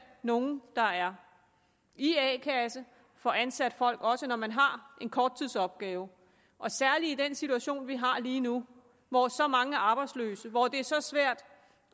nogle der er i a kasse få ansat folk også når man har en korttidsopgave særlig i den situation vi har lige nu hvor så mange er arbejdsløse hvor det er så svært